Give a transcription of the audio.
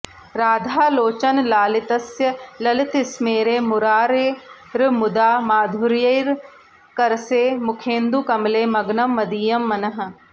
राधालोचनलालितस्य ललितस्मेरे मुरारेर्मुदा माधुर्यैकरसे मुखेन्दुकमले मग्नं मदीयं मनः